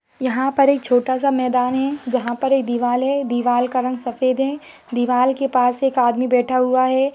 यहाँ पर एक छोटा-सा मैदान है जहाँ पर एक दीवाल है दीवाल का रंग सफ़ेद है दीवाल के पास एक आदमी बैठा हुआ है।